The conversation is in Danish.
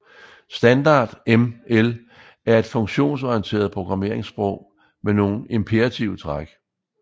Standard ML er et funktionsorienteret programmeringssprog med nogle imperative træk